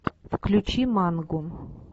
включи мангу